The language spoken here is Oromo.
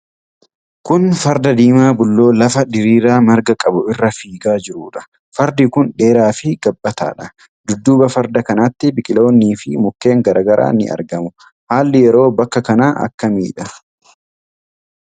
Kun farda diimaa bulloo lafa diriiraa marga qabu irra fiigaa jiruudha. fardi kun dheeraa fi gabbataadha. Dudduuba farda kanaatti biqiloonni fi mukkeen garaa garaa ni argamu. Haalli yeroo bakka kanaa akkamidha?